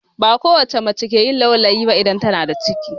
Ba kowacce mace ke yin aulayi ba idan tana da ciki